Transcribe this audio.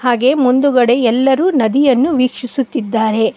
ಹಾಗೆ ಮುಂದುಗಡೆ ಎಲ್ಲರೂ ನದಿಯನ್ನು ವೀಕ್ಷಿಸುತ್ತಿದ್ದಾರೆ.